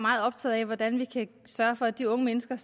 meget optaget af hvordan vi kan sørge for at de unge mennesker